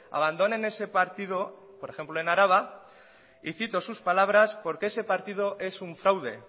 abandonen ese partido por ejemplo en araba y cito sus palabras porque ese partido es un fraude